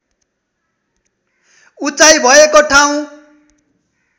उचाइ भएको ठाउँ